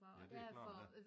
Ja det er klart ja